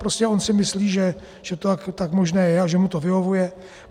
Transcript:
Prostě on si myslí, že to tak možné je a že mu to vyhovuje.